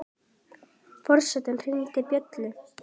Forseti hringdi bjöllu!